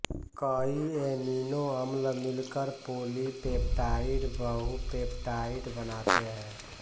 कई ऐमिनों अम्ल मिलकर पोलिपेप्टाइड बहु पेप्टाइड बनाते हैं